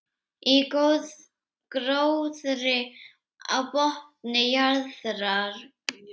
Í gróðri á botni jarðar.